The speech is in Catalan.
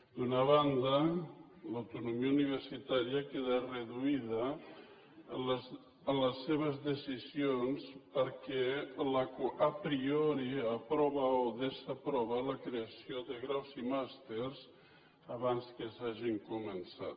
d’una banda l’autonomia universitària queda reduïda en les seves decisions perquè a prioriprova la creació de graus i màsters abans que s’hagin començat